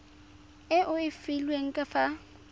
e o e filweng fa